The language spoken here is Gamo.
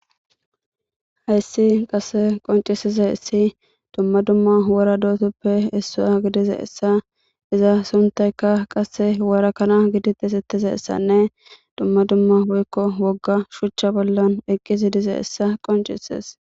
Hayssi qase qoncisiza essi dumma dumma wora dootuppe issaya gidize essa iza suntayka qasse warakana gidites ettize essanne dumma dumma boykko wogga shuchcha bollan eqqi zi dize essa qoncises